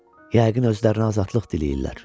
Yəqin özlərinə azadlıq diləyirlər.